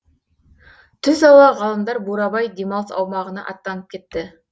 түс ауа ғалымдар бурабай демалыс аумағына аттанып кетті